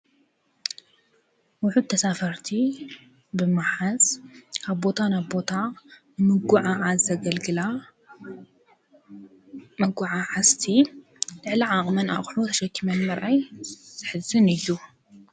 ውሑድ ተሳፈርቲ ብምሓዝ ካብ ቦታ ንቦታ ምጕዕዓዝ ዘገልግላ መጕዓዐዝቲ ልዕሊ ዓቕመን ኣቅሑ ተሸኪምን ምርኣይ ዘሕዝን እዩ።